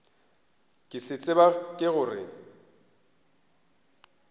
ke se tseba ke gore